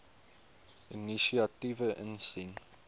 inisiatiewe insien